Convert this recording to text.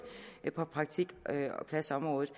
har været på praktikpladsområdet